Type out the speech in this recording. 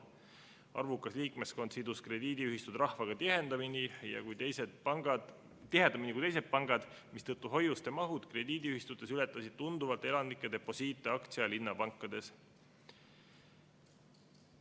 Arvukas liikmeskond sidus krediidiühistud rahvaga tihedamini kui teised pangad, mistõttu hoiuste mahud krediidiühistutes ületasid tunduvalt elanike deposiiti aktsia- ja linnapankades.